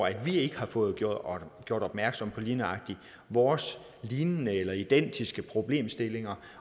at vi ikke har fået gjort gjort opmærksom på lige nøjagtig vores lignende eller identiske problemstillinger